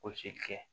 kɛ